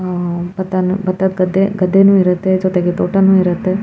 ಆಹ್ಹ್ ಬತಾನ್ ಬತ್ತದ ಗದ್ದೆ ಗದ್ದೆನು ಇರುತ್ತೆ ಜೊತೆಗೆ ತೋಟನು ಇರುತ್ತೆ.